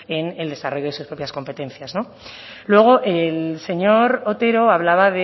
en el desarrollo de sus propias competencias luego el señor otero hablaba